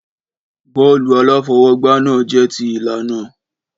Bọ́ọ̀lù aláfọwọ́gbá náà jẹ́ ti ìlànà.